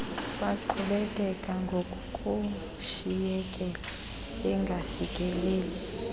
baqhubekeka ngokushiyekela bengafikeleli